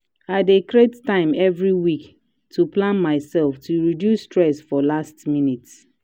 i dey create time every week to plan myself to reduce stress for last minute.